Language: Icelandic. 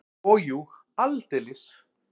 Og jú, aldeilis!